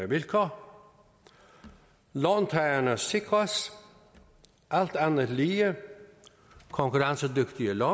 vilkår låntagerne sikres alt andet lige konkurrencedygtige lån